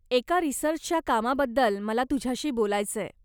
एका रीसर्चच्या कामाबद्दल मला तुझ्याशी बोलायचंय.